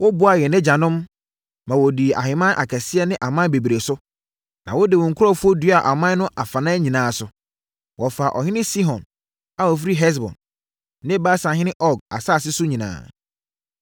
“Woboaa yɛn agyanom, ma wɔdii ahemman akɛseɛ ne aman bebree so, na wode wo nkurɔfoɔ duaa aman no afanan nyinaa so. Wɔfaa ɔhene Sihon a ɔfiri Hesbon ne Basanhene Og asase no nyinaa.